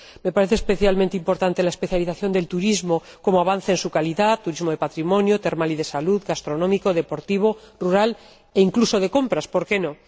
Me parece especialmente importante la especialización del turismo como avance en su calidad turismo de patrimonio, termal y de salud, gastronómico, deportivo, rural e incluso de compras, ¿por qué no?